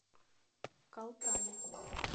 калтане